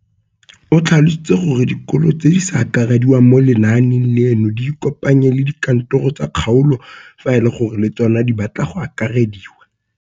O tlhalositse gore dikolo tse di sa akarediwang mo lenaaneng leno di ikopanye le dikantoro tsa kgaolo fa e le gore le tsona di batla go akarediwa.